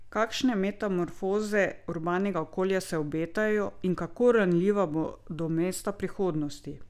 Kakšne metamorfoze urbanega okolja se obetajo in kako ranljiva bodo mesta prihodnosti?